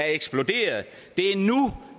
er eksploderet